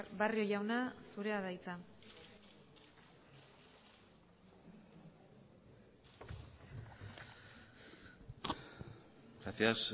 barrio jauna zurea da hitza gracias